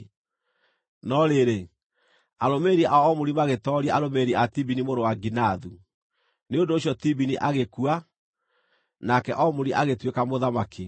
No rĩrĩ, arũmĩrĩri a Omuri magĩtooria arũmĩrĩri a Tibini mũrũ wa Ginathu; Nĩ ũndũ ũcio Tibini agĩkua, nake Omuri agĩtuĩka mũthamaki.